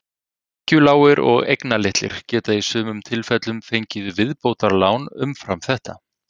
Tekjulágir og eignalitlir geta í sumum tilfellum fengið viðbótarlán umfram þetta.